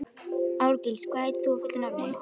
Árgils, hvað heitir þú fullu nafni?